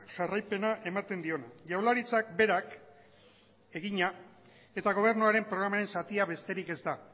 jarraipena ematen diona jaurlaritzak berak egina eta gobernuaren programaren zatia besterik ez da